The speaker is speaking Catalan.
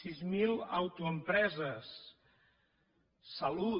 sis mil autoempreses salut